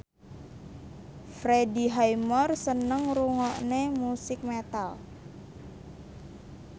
Freddie Highmore seneng ngrungokne musik metal